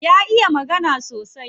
Ya iya magana sosai.